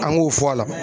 An k'o fɔ a la